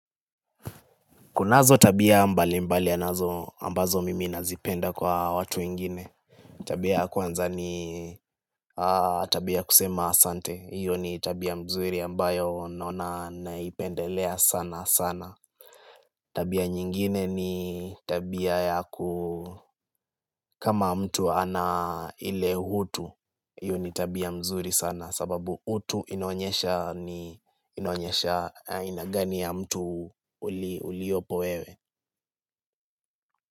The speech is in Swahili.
Kunazo tabia mbalimbali yanazo ambazo mimi nazipenda kwa watu wengine. Tabia ya kwanza ni tabia kusema asante. Iyo ni tabia mzuri ambayo naona naipendelea sanasana. Tabia nyingine ni tabia ya ku kama mtu ana ile utu. Iyo ni tabia mzuri sana sababu utu inaonyesha ni aina gani ya mtu uliopo wewe.